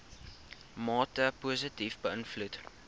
mate positief beïnvloed